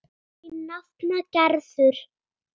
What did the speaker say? Þín nafna Gerður.